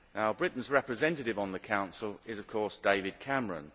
Britain's representative on the Council is of course David Cameron.